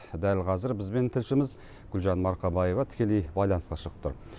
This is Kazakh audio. дәл қазір бізбен тілшіміз гулжан марқабаева тікелей байланысқа шығып тұр